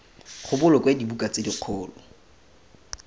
go bolokwe dibuka tse dikgolo